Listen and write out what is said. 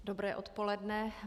Dobré odpoledne.